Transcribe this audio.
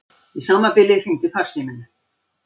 Í sama bili hringdi farsíminn.